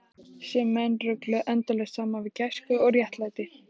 Sem menn rugluðu endalaust saman við gæsku og réttlæti.